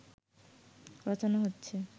রচনা হচ্ছে